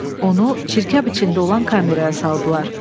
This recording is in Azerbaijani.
Onu çirkab içində olan kameraya saldılar.